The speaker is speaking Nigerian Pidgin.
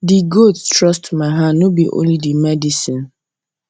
the goat trust my hand no be only the medicine